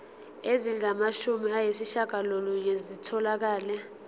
ezingamashumi ayishiyagalolunye zitholakele